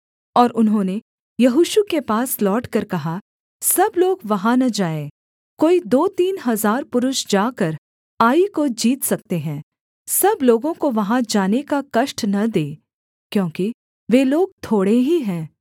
और उन्होंने यहोशू के पास लौटकर कहा सब लोग वहाँ न जाएँ कोई दो तीन हजार पुरुष जाकर आई को जीत सकते हैं सब लोगों को वहाँ जाने का कष्ट न दे क्योंकि वे लोग थोड़े ही हैं